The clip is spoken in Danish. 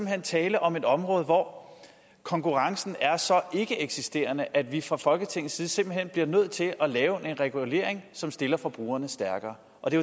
er tale om et område hvor konkurrencen er så ikkeeksisterende at vi fra folketingets side simpelt hen bliver nødt til at lave en regulering som stiller forbrugerne stærkere og det